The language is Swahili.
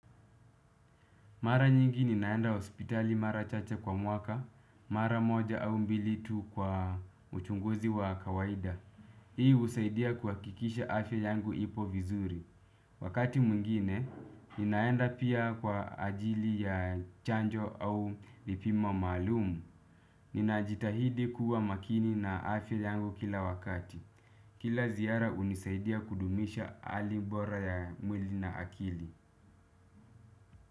Mara nyingi ninaenda hospitali mara chacha kwa mwaka, mara moja au mbili tu kwa mchunguzi wa kawaida. Hii husaidia kuhakisha afya yangu ipo vizuri. Wakati mwingine, ninaenda pia kwa ajili ya chanjo au vipimo maalum. Ninajitahidi kuwa makini na afya yangu kila wakati. Kila ziara hunisaidia kudumisha hali bora ya mwili na akili.